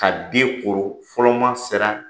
Ka den koro ,fɔlɔ maa sera